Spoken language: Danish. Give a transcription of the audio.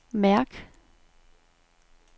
mærk